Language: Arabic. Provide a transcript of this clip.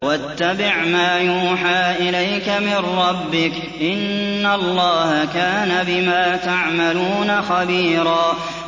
وَاتَّبِعْ مَا يُوحَىٰ إِلَيْكَ مِن رَّبِّكَ ۚ إِنَّ اللَّهَ كَانَ بِمَا تَعْمَلُونَ خَبِيرًا